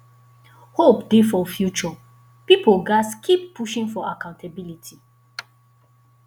hope dey for future pipo gatz keep pushing for accountability